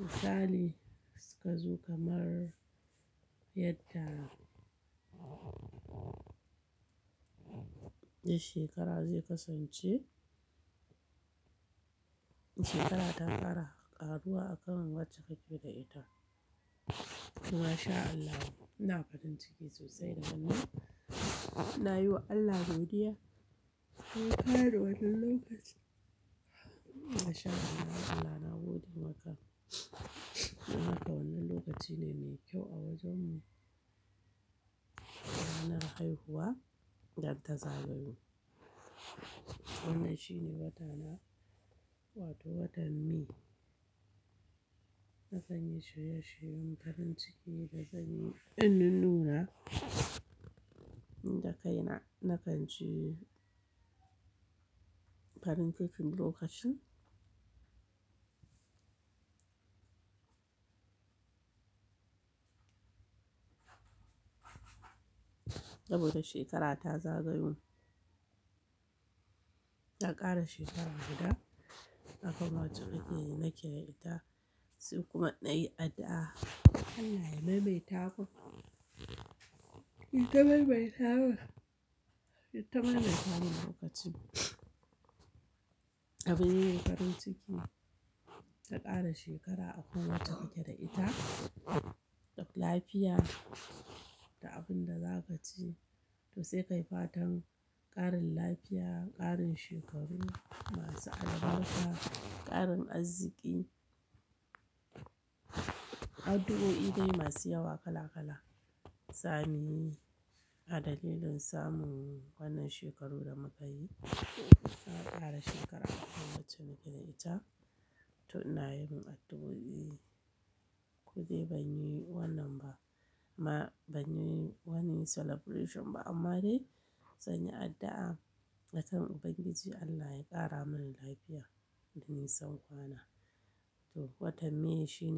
misali suka zo kamar yadda. Shekara zai kasance, shekara ta ƙara ƙaruwa akan wacce kake da ita. To mashallah ina farin ciki sosai da wannan. Na yi wa Allah godiya. Ya ƙara wannan lokaci. Mashallah Allah na gode maka. Wannan lokaci ne mai kyau a wajen mu. Wata na haihuwa da ta zagayu. Wannan shine wata na, wato watan May. Na kan yi shirye shiryen farin ciki da zan yi in nununa nida kaina na kan ci farin cikin lokacin. Saboda shekara ta zagayo. Na ƙara shekara guda akwai wacce nake da ita sai kuma na yi addu'a Allah ya maimaita mun. Ya taimaimaita mun. Ya taimaimaita min lokacin. Abin yi farin ciki ka ƙara shekara akwai wacce kake da ita, lafiya da abin da za ka ci to sai ka yi fatan ƙarin lafiya, ƙarin shekaru masu albarka, ƙarin arziki. Addu'o'i dai masu yawa kala kala same a dalilin samun wannan shekaru da muka yi. Na ƙara shekara akwai wacce nake da ita to ina yin addu'o'i. Koɗai ban yi wannan ba ma ban yi wani celebration ba amma dai zan yi addu'a a kan Ubangiji Allah ya ƙara min lafiya da nisan kwana. To watan May shine.